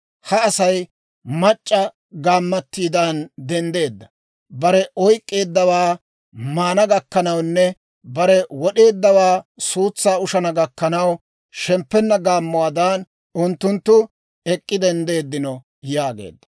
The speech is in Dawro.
Ha Asay mac'c'a gaammattidan denddeedda. Bare oyk'k'eeddawaa maana gakkanawunne, bare wod'eeddawaa suutsaa ushana gakkanaw, Shemppenna gaammuwaadan unttunttu ek'k'i denddino» yaageedda.